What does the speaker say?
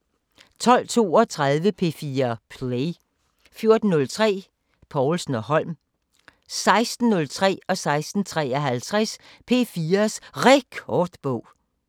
12:32: P4 Play 14:03: Povlsen & Holm 16:03: P4's Rekordbog 16:53: P4's Rekordbog